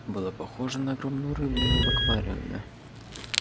было похоже на огромную рыбину в аквариуме